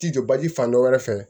Ti jɔ baji fan dɔ wɛrɛ fɛ